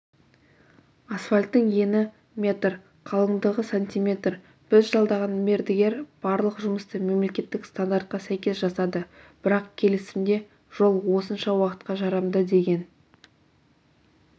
асфальттың ені метр қалыңдығы сантиметр біз жалдаған мердігер барлық жұмысты мемлекеттік стандартқа сәйкес жасады бірақ келісімде жол осынша уақытқа жарамды деген